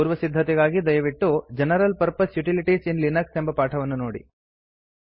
ಪೂರ್ವಸಿದ್ಧತೆಗಾಗಿ ದಯವಿಟ್ಟು general purpose utilities in Linux ಎಂಬ ಪಾಠವನ್ನು ನೋಡಿ